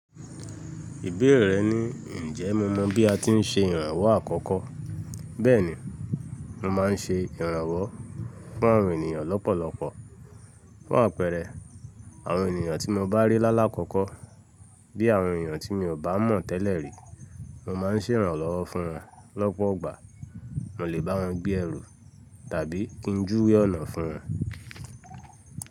Ìbéèrè rẹ ni, ǹjẹ́ mo mọ bí a ti ń ṣe ìrànwọ́ àkọ́kọ́. Bẹ́ẹ̀ni, mo máa ń ṣe ìrànwọ́ fún àwọn ènìyàn lọ́pọ̀lọpọ̀. Fun àpẹẹrẹ àwọn ènìyàn tí mo bá rí lálá kọ́kọ́ bí àwọn ènìyàn tí mi ò bá mọ̀ tẹ́lẹ̀ rí, mo má ń ṣe ìrànlowọ́ fún wọn lọ́pọ̀ igbà, mo lè bá wọn gbé ẹrù tàbí kí n júwe ọ̀nà fún wọn.